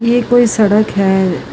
ਇਹ ਕੋਈ ਸੜਕ ਹੈ।